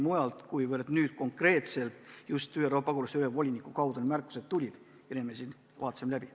Märkused tulid konkreetselt just pagulaste ülemvoliniku ameti esindaja kaudu ja need me siin vaatasime läbi.